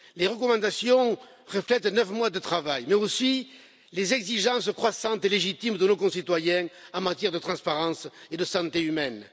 Les recommandations reflètent neuf mois de travail, mais aussi les exigences croissantes et légitimes de nos concitoyens en matière de transparence et de santé humaine.